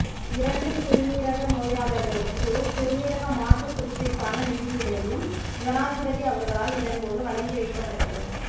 இரண்டு சிறுநீரக நோயளர்களுக்கு சிறுநீரக மாற்று சிகிச்சைக்கான நிதியுதவியும் ஜனாதிபதி அவர்களால் இதன்போது வழங்கி வைக்கப்பட்டது